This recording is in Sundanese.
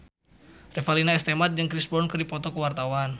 Revalina S. Temat jeung Chris Brown keur dipoto ku wartawan